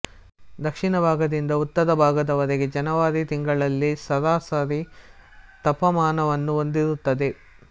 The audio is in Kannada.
ದಕ್ಷಿಣ ಭಾಗದಿಂದ ಉತ್ತರ ಭಾಗದ ವರೆಗೆ ಜನವರಿ ತಿಂಗಳಿನಲ್ಲಿ ಸರಾಸರಿ ತಾಪಮಾನವನ್ನು ಹೊಂದಿರುತ್ತದೆ